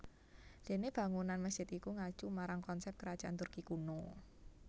Dene bangunan masjid iku ngacu marang konsep Kerajaan Turki kuno